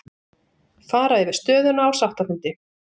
Fara yfir stöðuna á sáttafundi